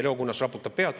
Leo Kunnas raputab pead.